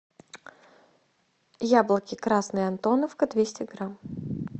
яблоки красные антоновка двести грамм